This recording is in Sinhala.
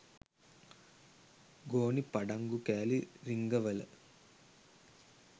ගෝනි පඩංගු කෑලි රිංගවල